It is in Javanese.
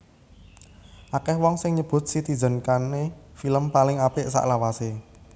Akèh wong sing nyebut Citizen Kane film paling apik salawasé